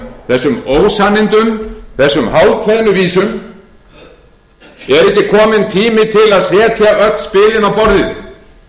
þessum ósannindum þessum hálfkveðnu vísum er ekki kominn tími til að setja öll spilin á borðið gagnvart þjóðinni